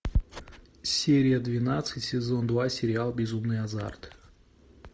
серия двенадцать сезон два сериал безумный азарт